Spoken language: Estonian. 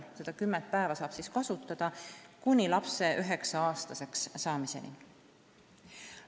Seda kümmet päeva saab siis kasutada kuni lapse 9-aastaseks saamiseni.